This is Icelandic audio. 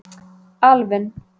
Alvin